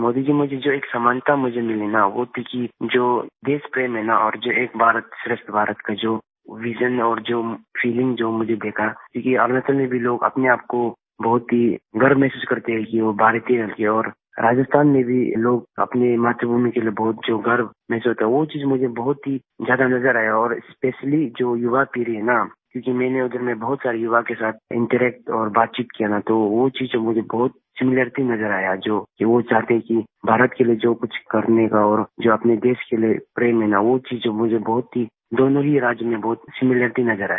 मोदी जी मुझे जो एक समानता मुझे मिली न वो थी कि जो देश प्रेम है नाऔर जो एक भारत श्रेष्ठ भारत का जो विजन और जो फीलिंग जो मुझे देखा क्योंकि अरुणाचल में भी लोग अपने आप को बहुत ही गर्व महसूस करते हैं कि वो भारतीय हैं इसलिये और राजस्थान में भी लोग अपनी मातृ भूमि के लिए बहुत जो गर्व महसूस होता है वो चीज़ मुझे बहुत ही ज्यादा नज़र आया और स्पेशली जो युवा पीढ़ी है ना क्योंकि मैंने उधर में बहुत सारे युवा के साथ इंटरैक्ट और बातचीत किया ना तो वो चीज़ जो मुझे बहुत सिमिलारिटी नज़र आया जो वो चाहते हैं कि भारत के लिए जो कुछ करने का और जो अपने देश के लिए प्रेम है ना वो चीज़ मुझे बहुत ही दोनों ही राज्यों में बहुत ही सिमिलारिटी नज़र आया